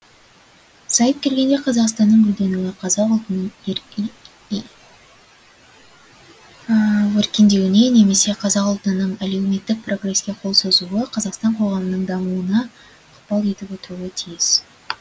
сайып келгенде қазақстанның гүлденуі қазақ ұлтының өркендеуіне немесе қазақ ұлтының әлеуметтік прогреске қол созуы қазақстан коғамының дамуына ықпал етіп отыруы тиіс